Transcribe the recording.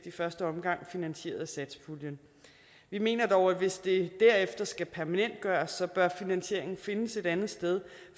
i første omgang finansieret af satspuljen vi mener dog at hvis det derefter skal permanentgøres bør finansieringen findes et andet sted